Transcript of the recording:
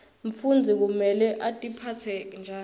mfundzi kumele atiphatse njani